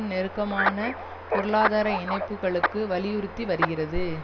நெருக்கமான பொருளாதார இணைப்புக்களுக்கு வலியுறுத்தி வருகிறது